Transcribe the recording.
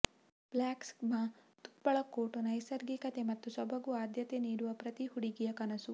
Blackglama ತುಪ್ಪಳ coat ನೈಸರ್ಗಿಕತೆ ಮತ್ತು ಸೊಬಗು ಆದ್ಯತೆ ನೀಡುವ ಪ್ರತಿ ಹುಡುಗಿಯ ಕನಸು